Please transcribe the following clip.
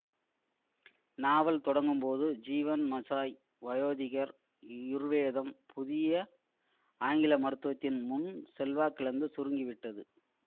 நாவல் தொடங்கும்போது ஜீவன் மஷாய் வயோதிகர் யுர்வேதம் புதிய ஆங்கில மருத்துவத்தின் முன் செல்வாக்கிழந்து சுருங்கிவிட்டது